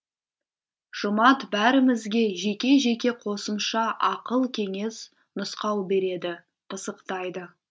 жұмат бәрімізге жеке жеке қосымша ақыл кеңес нұсқау береді пысықтайды